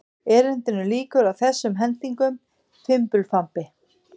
Erindinu lýkur á þessum hendingum: Fimbulfambi